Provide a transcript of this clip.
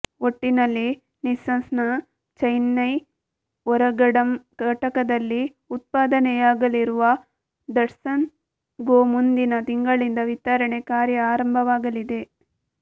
ಒಟ್ಟಿನಲ್ಲಿ ನಿಸ್ಸಾನ್ನ ಚೆನ್ನೈ ಓರಗಡಂ ಘಟಕದಲ್ಲಿ ಉತ್ಪಾದನೆಯಾಗಲಿರುವ ದಟ್ಸನ್ ಗೊ ಮುಂದಿನ ತಿಂಗಳಿಂದ ವಿತರಣೆ ಕಾರ್ಯ ಆರಂಭವಾಗಲಿದೆ